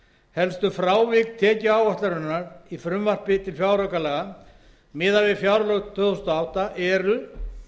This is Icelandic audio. helstu frávik tekjuáætlunar í frumvarpi til fjáraukalaga miðað við fjárlög tvö þúsund og átta eru